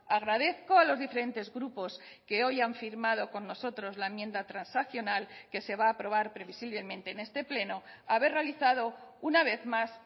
agradezco a los diferentes grupos que hoy han firmado con nosotros la enmienda transaccional que se va a aprobar previsiblemente en este pleno haber realizado una vez más